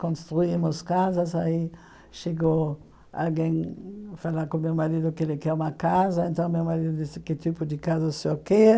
Construímos casas, aí chegou alguém falar com meu marido que ele quer uma casa, então meu marido disse que tipo de casa o senhor quer,